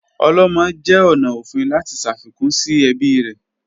Olomo jẹ ọna ofin lati ṣafikun si ẹbi rẹ